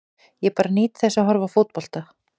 Ég bara nýt þess að horfa á fótbolta.